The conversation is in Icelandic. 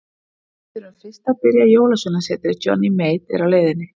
Við þurfum fyrst að byrgja Jólasveinasetrið Johnny Mate er á leiðinni.